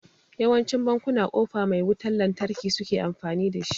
Yawancin bankuna kofa mai wutan lantarki suke amfani da